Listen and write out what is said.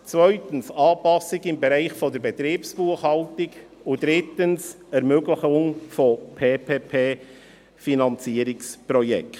Zweitens: Anpassungen im Bereich der Betriebsbuchhaltung, und drittens: Ermöglichung von Public-Private-Partnership(PPP)-Finanzierungsprojekten.